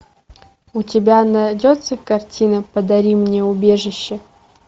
у тебя найдется картина подари мне убежище